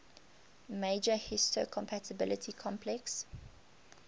major histocompatibility complex